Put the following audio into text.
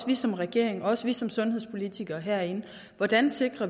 vi som regering og også vi som sundhedspolitikere herinde hvordan